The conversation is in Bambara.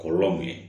Kɔlɔlɔw ye